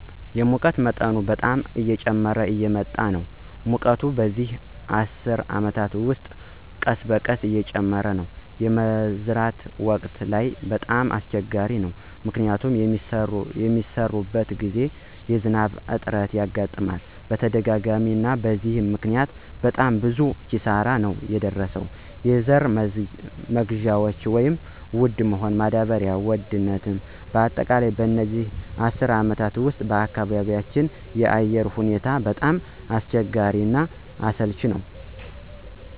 እንጂ። የሙቀት መጠን በጣም እየጨመረ እየመጣ ነው ሙቀቱ በዚህ አስር አመት ውስጥ ቀስበቀስ እየጨመረ ነው። የመዝራት ወቅት ላይ በጣም አሰቸጋሪ ነው። ምክንያቱም በሚሰራበት ግዜ የዝናብ እጥረት ያጋጥመናል በተደጋጋሚ አናም በዚህ ምክኒያት በጣም ብዙ ኪሳራ ነው የደረሰው የዘራ መግዢያ ወድ ነው ማዳበሪው ውድ ነው በአጠቃላይ በዚህ አስር አመት ውስጥ በአካባቢያቸው አየር ሁኔታው በጣም አስቸጋሪ እና አሰልች ነወ።